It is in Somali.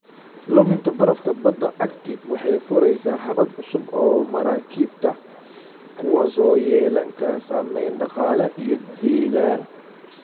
Luminta barafka badda Arctic waxay furaysaa habab cusub oo maraakiibta, kuwaas oo yeelan kara saameyn dhaqaale iyo deegaan.